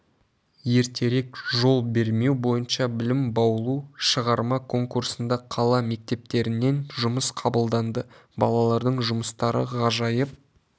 ертерек жол бермеу бойынша білім баулу шығарма конкурсында қала мектептерінен жұмыс қабылданды балалардың жұмыстары ғажайып